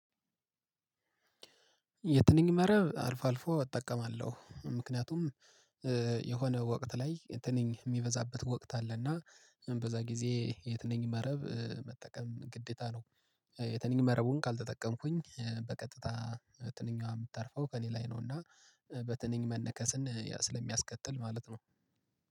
የትንኝ መረብ አልፎ አልፎ እጠቀማለሁ ምክንያቱም እ የሆነ ወቅት ላይ የትንኝ የሚበዛበት ወቅት አለና በዛ ጊዜ የትነኝ መረብ እ መጠቀም ግዴታ ነው። የትንኝ መረቡን ካልተጠቀምኩኝ በቀጥታ ትንኛዋ የምታርፈው ከእኔ ላይ ነው። እና እ በትንኝ መነከስን ስለሚያስከትል ማለት ነው።